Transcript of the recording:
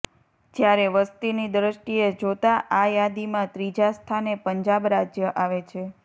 જ્યારે વસતીની દ્રષ્ટિએ જોતાં આ યાદીમાં ત્રીજા સ્થાને પંજાબ રાજ્ય આવે છે